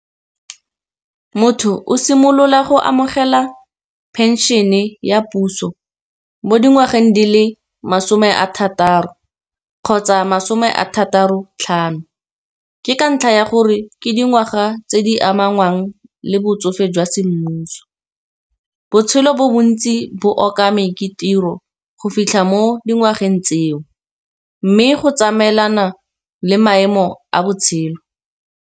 Motho o simolola go amogela pension-e ya puso mo dingwageng di le masome a thataro, kgotsa masome a thataro tlhano. Ke ka ntlha ya gore ke dingwaga tse di amanang le botsofe jwa semmuso, botshelo bo bontsi bo okame ke tiro go fitlha mo dingwageng tseo, mme go tsamaelana le maemo a botshelo.